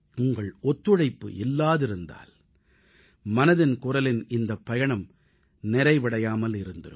உங்கள் ஒத்துழைப்பு இல்லாதிருந்தால் மனதின் குரலின் இந்தப் பயணம் நிறைவடையாமல் இருந்திருக்கும்